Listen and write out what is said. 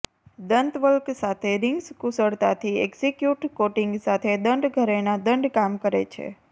દંતવલ્ક સાથે રિંગ્સ કુશળતાથી execute coating સાથે દંડ ઘરેણાં દંડ કામ કરે છે